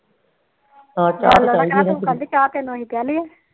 ਹਮ ਚਾਹ ਚਾਹ ਤੈਨੂੰ ਅਸੀ ਪਿਲਾਦੀਏ